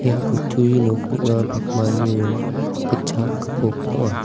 ia kutturi nok ning·a pakmani rong gitchak gipok ong·a.